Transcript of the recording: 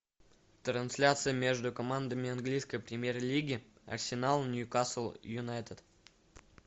трансляция между командами английской премьер лиги арсенал ньюкасл юнайтед